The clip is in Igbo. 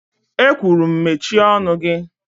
E kwuru'm mechie ọnụ gị.!